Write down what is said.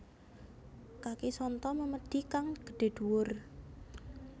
Kaki sonto memedhi kang gedhe duwur